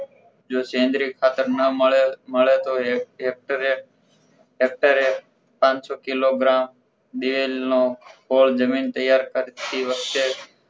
જો સેન્દ્રીય ખાતર ન મળે મળે તો હેકટરે હેકટરે પાણસો કિલોગ્રામ દિવેલ નો કોલ જમીન તૈયાર કરતી વખતે